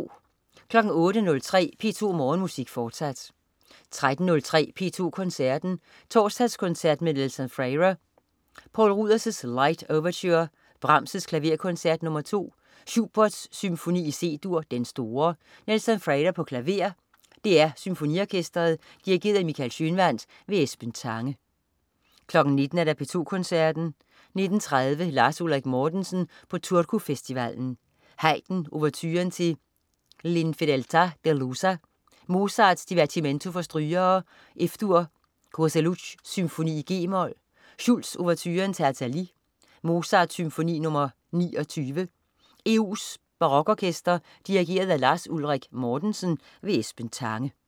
08.03 P2 Morgenmusik, fortsat 13.03 P2 Koncerten. Torsdagskoncert med Nelson Freire. Poul Ruders: Light Overture. Brahms: Klaverkoncert nr. 2. Schubert: Symfoni i C-dur, Den store. Nelson Freire, klaver. DR Symfoniorkestret. Dirigent: Michael Schønwandt. Esben Tange 19.00 P2 Koncerten. 19.30 Lars Ulrik Mortensen på Turku Festivalen. Haydn: Ouverturen til L'infedeltà delusa. Mozart: Divertimento for strygere, F-dur. Kozeluch: Symfoni g-mol. Schulz: Ouverturen til Athalie. Mozart: Symfoni nr. 29. EU' s Barokorkester. Dirigent: Lars Ulrik Mortensen. Esben Tange